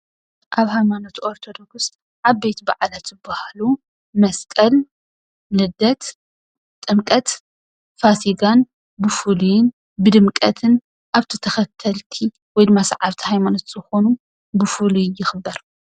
ካብ ሃይማኖት ኦርተዶክስ ዓበዪቲ በዓላት ዝበሃሉ መስቀል ፣ልደት ፣ጥምቀት፣ ፋሲጋን ብፍሉይን ብድምቀት ኣብቲ ተኸተልቲ ወይ ድማ ሰዓብቲ ሃይማኖት ዝኾኑ ብፍሉይ ይኽበር ።